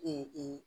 Ee